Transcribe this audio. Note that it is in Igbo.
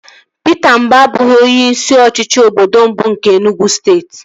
Pita Mba abụghị onye isi ọchịchị obodo mbụ nke Enugwu steeti